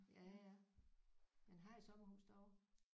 Ja ja men har I sommerhus derovre?